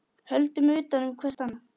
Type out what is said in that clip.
Höldum utan um hvert annað.